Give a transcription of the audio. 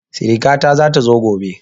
Siriƙa ta zata zo gobe